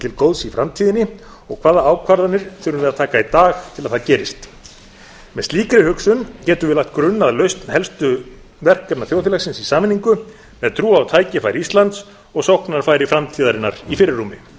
til góðs í framtíðinni og hvaða ákvarðanir þurfum við að taka í dag til að það gerist með slíkri hugsun getum við lagt grunn að lausn helstu verkefna þjóðfélagsins í sameiningu með trú á tækifæri íslands og sóknarfæri framtíðarinnar í fyrirrúmi